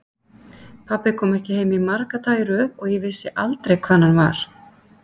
Pabbi kom ekki heim marga daga í röð og ég vissi aldrei hvar hann var.